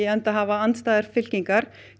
enda hafa andstæðar fylkingar